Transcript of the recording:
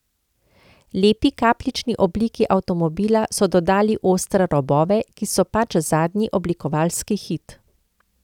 Lepi kapljični obliki avtomobila so dodali ostre robove, ki so pač zadnji oblikovalski hit.